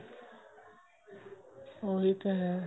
ਉਹੀ ਤਾਂ ਹੈ